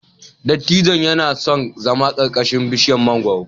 Dattijon yana son zama ƙarƙashin bishiyar mangwaro.